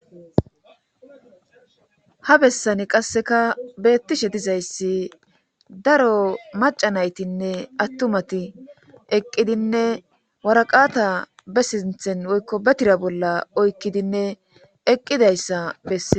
Ha bessani qasseka beettishe dizayssi daro macanaytinne attumati eqqidinne waraqata be sinthen woykko betira bolla oykkidinne eqqidayssa bessen.